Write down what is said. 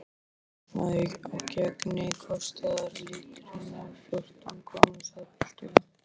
Umreiknað á gengi kostar lítrinn fjórtán krónur, sagði pilturinn.